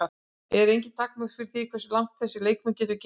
Eru engin takmörk fyrir því hversu langt þessi leikmaður getur gengið?